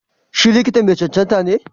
Si likita ma cancanta ne?